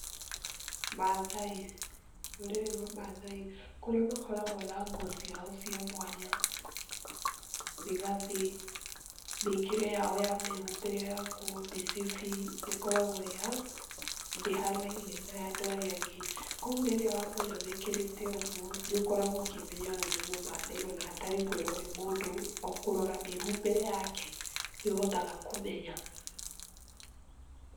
Mathai, rũrĩrĩ rwa mathai kũrĩa makoragwo na nguo ciao cia mwanya, mĩgathĩ, mĩkĩre ya o ya mĩhumbĩre ya nguo, mĩcibi ĩkoragwo ndĩhanaine na ya andũ arĩa angĩ. Kogwo rĩrĩa wa mona mekĩrĩte ũgũo nĩũkoragwo ũkĩmenya ũyũ nĩ mũmathai o na hatarĩ kwĩrwo nĩ mũndũ, o kũrora mĩhumbĩre yake nĩũhotaga kũmenya.